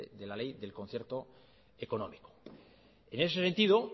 de la ley del concierto económico en ese sentido